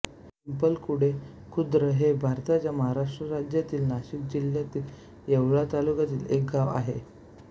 पिंपळखुटे खुर्द हे भारताच्या महाराष्ट्र राज्यातील नाशिक जिल्ह्यातील येवला तालुक्यातील एक गाव आहे